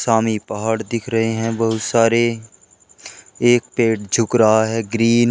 पहाड़ दिख रहे है बहुत सारे एक पेड़ झुक रहा है ग्रीन ।